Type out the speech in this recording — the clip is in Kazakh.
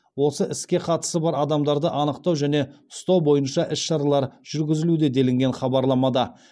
осы іске қатысы бар адамдарды анықтау және ұстау бойынша іс шаралар жүргізілуде делінген хабарламада